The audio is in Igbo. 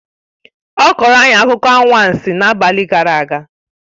Ọ kọrọ anyị akụkọ anwansi n'abalị gara aga